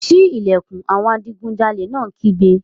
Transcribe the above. Sí ìlẹ̀kùn! Àwọn adigunjalè náà kígbe.